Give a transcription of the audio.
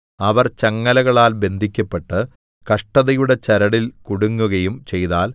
അവർ ചങ്ങലകളാൽ ബന്ധിക്കപ്പെട്ട് കഷ്ടതയുടെ ചരടിൽ കുടുങ്ങുകയും ചെയ്താൽ